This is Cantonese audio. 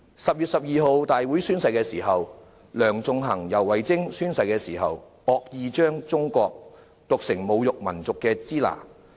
10月12日立法會會議上宣誓期間，梁頌恆及游蕙禎惡意將"中國"讀成侮辱民族的"支那"。